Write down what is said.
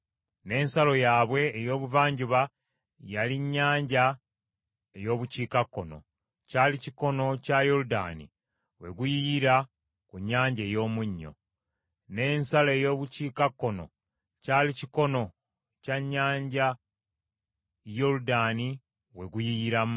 N’ensalo yaabwe ey’obuvanjuba yali nnyanja ey’obukiikakkono. Kyali kikono kya Yoludaani we guyiyira ku Nnyanja ey’Omunnyo. N’ensalo ey’obukiikakkono kyali kikono kya nnyanja Yoludaani we guyiyiramu.